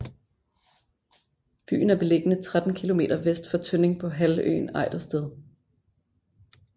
Byen er beliggende 13 kilometer vest for Tønning på halvøen Ejdersted